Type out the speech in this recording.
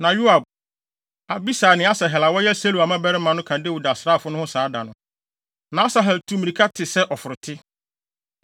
Na Yoab, Abisai ne Asahel a wɔyɛ Seruia mmabarima baasa no ka Dawid asraafo no ho saa da no. Na Asahel tu mmirika te sɛ ɔforote,